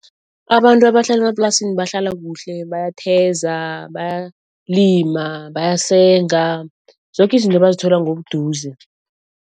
Abantu abahlala emaplasini bahlala kuhle. Bayatheza, bayalima bayasenga, zoke izinto bazithola ngobuduze.